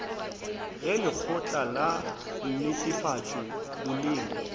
ge lekgotla la netefatšo boleng